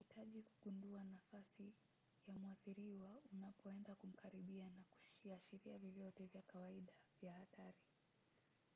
unahitaji kugundua nafasi ya mwathiriwa unapoenda kumkaribia na kiashiria vyovyote vya kawaida vya hatari